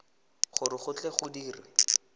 gore go tle go dirwe